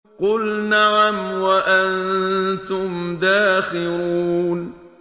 قُلْ نَعَمْ وَأَنتُمْ دَاخِرُونَ